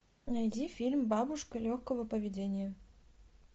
найди фильм бабушка легкого поведения